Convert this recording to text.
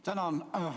Tänan!